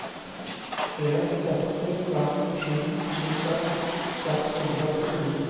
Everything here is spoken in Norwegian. en åtte fem sju tjueseks seks hundre og åttini